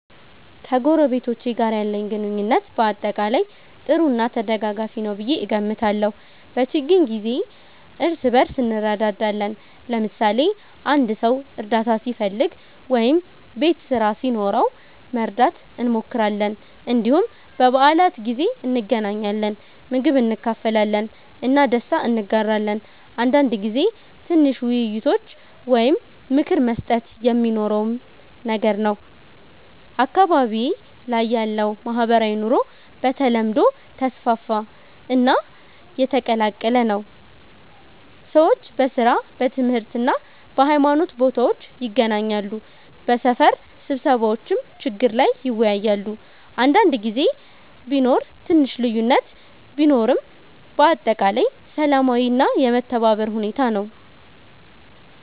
ከጎረቤቶቼ ጋር ያለኝ ግንኙነት በአጠቃላይ ጥሩ እና ተደጋጋፊ ነው ብዬ እገምታለሁ። በችግኝ ጊዜ እርስ በእርስ እንረዳዳለን፣ ለምሳሌ አንድ ሰው እርዳታ ሲፈልግ ወይም ቤት ስራ ሲኖረው መርዳት እንሞክራለን። እንዲሁም በበዓላት ጊዜ እንገናኛለን፣ ምግብ እንካፈላለን እና ደስታ እንጋራለን። አንዳንድ ጊዜ ትንሽ ውይይቶች ወይም ምክር መስጠት የሚኖረውም ነገር ነው። አካባቢዬ ላይ ያለው ማህበራዊ ኑሮ በተለምዶ ተስፋፋ እና የተቀላቀለ ነው። ሰዎች በሥራ፣ በትምህርት እና በሃይማኖት ቦታዎች ይገናኛሉ፣ በሰፈር ስብሰባዎችም ችግር ላይ ይወያያሉ። አንዳንድ ጊዜ ቢኖር ትንሽ ልዩነት ቢኖርም በአጠቃላይ ሰላማዊ እና የመተባበር ሁኔታ ነው።